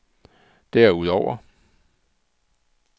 derudover